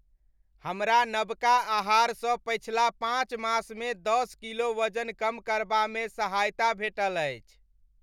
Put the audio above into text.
हमरा नबका आहारसँ पछिला पाँच मासमे दश किलो वजन कम करबामे सहायता भेटल अछि।